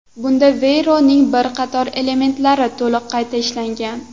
Bunda Veyron’ning bir qator elementlari to‘liq qayta ishlangan.